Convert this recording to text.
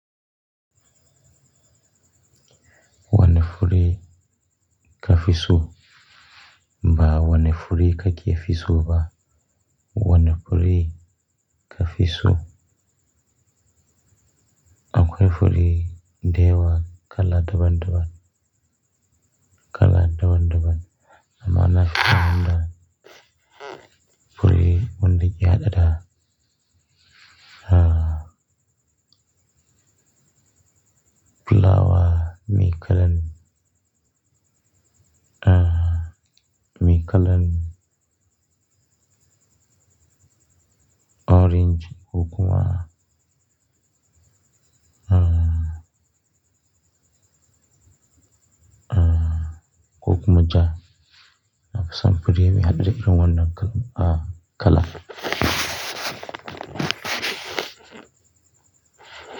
Wane fure kafiso ba wane fure kake fiso ba wane fure kafiso. Akwai fure deyawa kala daban-daban, kala daban-daban. Amma ina amfanida fure wanda ya hada. Ah, fulawa mai kalan, ah, mai kalan orange, ko kuwaamz, ah, ah, kokuma ja. Na fi son fure mai haɗe da irin wannan kalan.